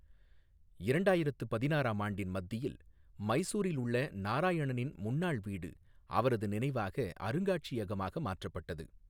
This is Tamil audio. இரண்டாயிரத்து பதினாறாம் ஆண்டின் மத்தியில், மைசூரில் உள்ள நாராயணின் முன்னாள் வீடு அவரது நினைவாக அருங்காட்சியகமாக மாற்றப்பட்டது.